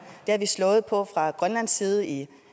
det har vi slået på fra grønlands side i